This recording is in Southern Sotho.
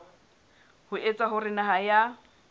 ho etsa hore naha ya